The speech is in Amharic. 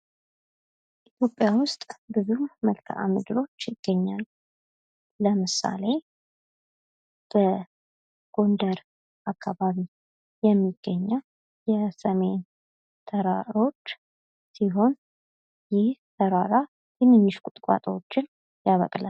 ኢትዮጵያ ውስጥ ብዙ መልካም ምድሮች ይገኛሉ ለምሳሌ በጎንደር አካባቢ የሚገኘው የሰሜን ተራሮች ሲሆን ይህ ተራራ ትንንሽ ቁጥቋጦዎችን ያበቅላል።